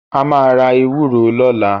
A máa ra ewúro lọ́la.